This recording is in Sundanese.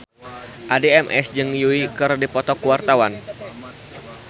Addie MS jeung Yui keur dipoto ku wartawan